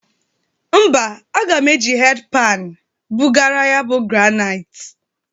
Mba, aga m eji hed pani bụgara ya bụ graniti.